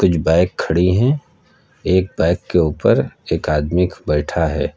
कुछ बाइक खड़ी हैं एक बाइक के ऊपर एक आदमी बैठा है।